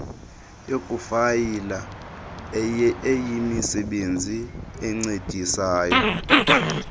yokufayila eyimisebenzi encedisayo